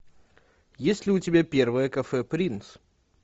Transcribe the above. есть ли у тебя первое кафе принц